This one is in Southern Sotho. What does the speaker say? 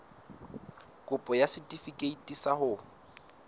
kopo ya setefikeiti sa ho